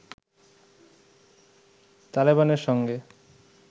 তালেবানের সঙ্গে